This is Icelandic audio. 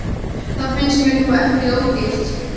Það finnst mér nú ekki ódýrt.